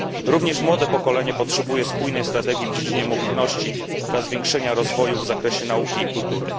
Również młode pokolenie potrzebuje spójnej strategii w dziedzinie mobilności dla zwiększenia rozwoju w zakresie nauki i kultury.